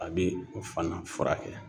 A be o fana furakɛ